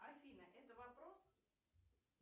афина это вопрос